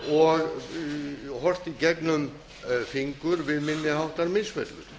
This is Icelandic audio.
og horft í gegnum fingur við minni háttar misferli